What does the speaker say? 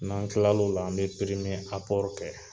N'an kila l'o la an bɛ kɛ.